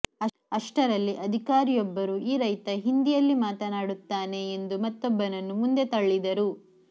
ಅಷ್ಟರಲ್ಲಿ ಅಧಿಕಾರಿಯೊಬ್ಬರು ಈ ರೈತ ಹಿಂದಿಯಲ್ಲಿ ಮಾತನಾಡುತ್ತಾನೆ ಎಂದು ಮತ್ತೊಬ್ಬನನ್ನು ಮುಂದೆ ತಳ್ಳಿದರು